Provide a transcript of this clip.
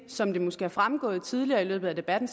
som det måske er fremgået tidligere i løbet af debatten